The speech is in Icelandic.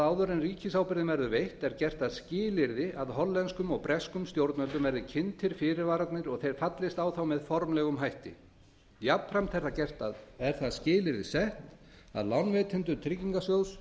áður en ríkisábyrgðin verður veitt er gert að skilyrði að hollenskum og breskum stjórnvöldum verði kynntir fyrirvararnir og þeir fallist á þá með formlegum hætti jafnframt er það skilyrði sett að lánveitendur tryggingarsjóðs